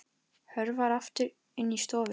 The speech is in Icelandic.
Hörfar aftur inn í stofu.